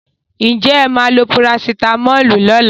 Will you take paracetamol tomorrow?